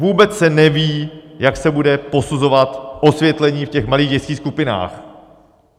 Vůbec se neví, jak se bude posuzovat osvětlení v těch malých dětských skupinách.